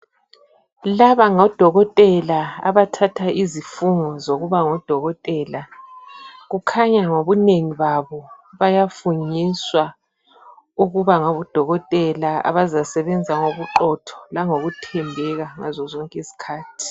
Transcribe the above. Laba ngodokotela abathatha izifungo zokuba ngodokotela. Kukhanya ngobunengi babo bayafungiswa ukuba ngabodokotela abazasebenza ngobuqotho langokuthembeka ngazo zonke izikhathi.